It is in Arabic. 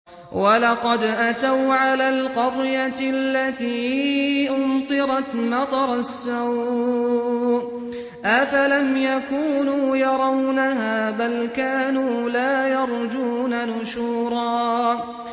وَلَقَدْ أَتَوْا عَلَى الْقَرْيَةِ الَّتِي أُمْطِرَتْ مَطَرَ السَّوْءِ ۚ أَفَلَمْ يَكُونُوا يَرَوْنَهَا ۚ بَلْ كَانُوا لَا يَرْجُونَ نُشُورًا